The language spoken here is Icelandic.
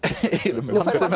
um